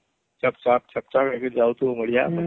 ଛକ ଛକ ହେଇ ଯାଉଥିବ ବଢିଆ